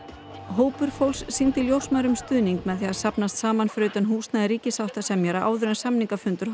hópur fólks sýndi ljósmæðrum stuðning með því að safnast saman fyrir utan húsnæði ríkissáttasemjara áður en samningafundur